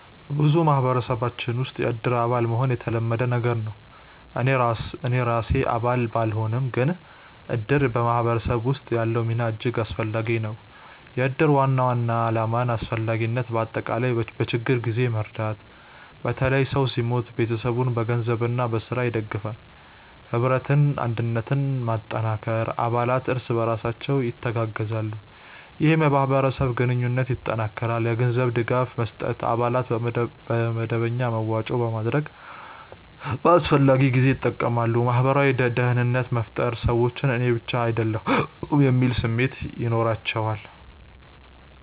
በብዙ ማህበረሰቦች ውስጥ “የእድር አባል” መሆን የተለመደ ነገር ነው። እኔ ራሴ አባል ባልሆንም፣ ግን እድር በማህበረሰብ ውስጥ ያለው ሚና እጅግ አስፈላጊ ነው። የእድር ዋና ዓላማና አስፈላጊነት በአጠቃላይ፦ በችግኝ ጊዜ መርዳት – በተለይ ሰው ሲሞት ቤተሰቡን በገንዘብና በሥራ ይደግፋል። ኅብረትና አንድነት መጠንከር – አባላት እርስ በርሳቸው ይተጋገዛሉ፣ ይህም የማህበረሰብ ግንኙነትን ያጠናክራል። የገንዘብ ድጋፍ መስጠት – አባላት በመደበኛ መዋጮ በማድረግ በአስፈላጊ ጊዜ ይጠቀማሉ። ማህበራዊ ደህንነት መፍጠር – ሰዎች “እኔ ብቻ አይደለሁም” የሚል ስሜት ይኖራቸዋል